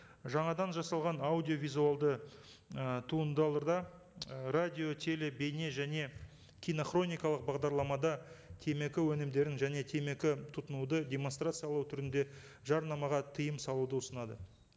жаңадан жасалған аудиовизуалды і туындыларда і радиотелебейне және кинохроникалық бағдарламада темекі өнімдерін және темекі тұтынуды демонстрациялау түрінде жарнамаға тыйым салуды ұсынады